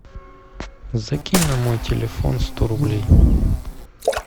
закинь на мой телефон сто рублей